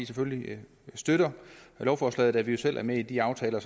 selvfølgelig støtter lovforslaget da vi jo selv er med i de aftaler